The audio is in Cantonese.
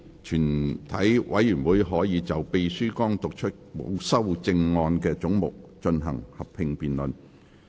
全體委員會可就秘書剛讀出沒有修正案的總目進行合併辯論。